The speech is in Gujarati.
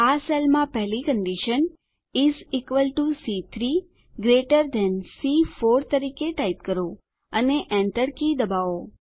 આ સેલમાં પહેલી કંડીશન ઇસ ઇક્વલ ટીઓ સી3 ગ્રેટર થાન સી4 તરીકે ટાઈપ કરો અને Enter કી દબાવો